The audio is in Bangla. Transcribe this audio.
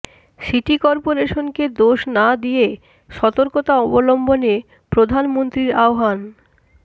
সিটি কর্পোরেশনকে দোষ না দিয়ে সতর্কতা অবলম্বনে প্রধানমন্ত্রীর আহবান